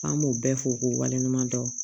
An b'o bɛɛ fɔ k'o waleɲuman dɔn